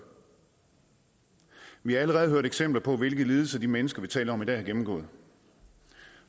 vi har allerede hørt eksempler på hvilke lidelser de mennesker vi taler om i dag har gennemgået